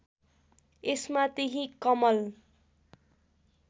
यसमा त्यही कमल